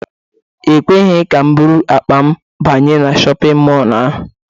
E kweghị ka m buru akpa m banye na shọpịn mọlụ ahụ.